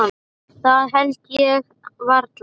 Það held ég varla.